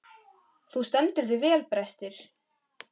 Þú stendur þig vel, Brestir!